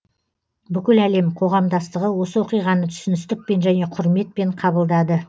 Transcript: бүкіл әлем қоғамдастығы осы оқиғаны түсіністікпен және құрметпен қабылдады